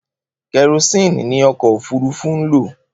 Kerosini ni ọkọ òfurufú n lo